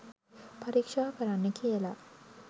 පරීක්ෂා කරන්න කියලා